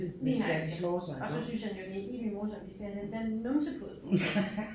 Lige nøjagtigt og så synes han jo det er helt vildt morsomt de skal have den der numsepude på